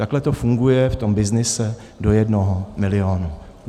Takhle to funguje v tom byznysu do jednoho milionu.